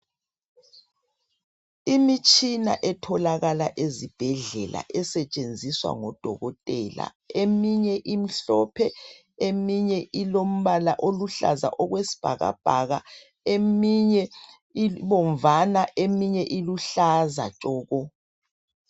imitshina etholakala ezibhedlela esetshenziswa ngodokotela eminye imhlophe eminye ilombala oluhlaza okwesibhakabhaka eminye ibomvana eminye iluhlaza tshoko